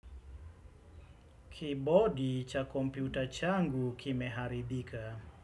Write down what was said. Kibodi cha kompyuta changu kimeharibika.